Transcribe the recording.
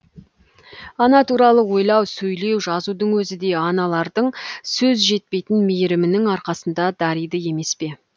ана туралы ойлау сөйлеу жазудың өзі де аналардың сөз жетпейтін мейірімінің арқасында дариды емес пе